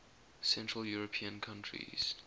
central european countries